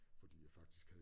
Fordi jeg faktisk havde